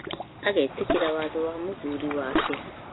agetĩkĩra watho wa mũthuri wake.